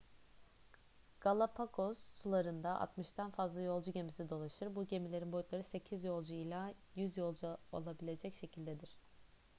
galapagos sularında 60'dan fazla yolcu gemisi dolaşır bu gemilerin boyutları 8 yolcu ila 100 yolcu alabilecek şekildedir